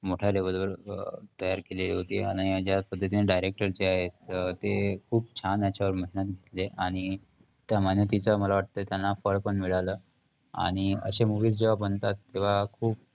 मोठ्या level वर तयार केलेली होती आणि ज्या पद्धतीने director जे आहेत, अं ते खूप छान याच्यावर मेहनत घेतले आणि त्या मेहनतीचं मला वाटतंय त्यांना फळ पण मिळालं आणि अशे movies जेव्हा बनतात, तेव्हा खूप एक